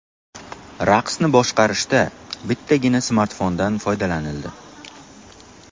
Raqsni boshqarishda bittagina smartfondan foydalanildi.